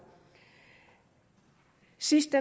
sidst